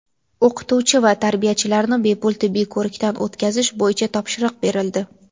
O‘qituvchi va tarbiyachilarni bepul tibbiy ko‘rikdan o‘tkazish bo‘yicha topshiriq berildi.